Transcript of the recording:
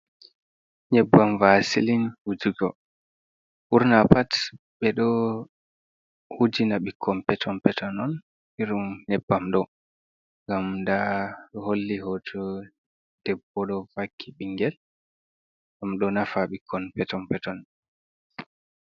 Nyebbam vasilin wujugo, ɓurna pat ɓe ɗo wujina ɓikkon peton peton on, i rum nyebbam ɗo, ngam nda holli hoto debbo ɗo vakki bingel, ɗum ɗo nafa ɓikkon peton peton.